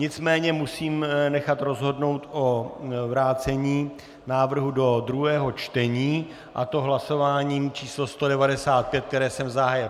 Nicméně musím nechat rozhodnout o vrácení návrhu do druhého čtení, a to hlasováním číslo 195, které jsem zahájil.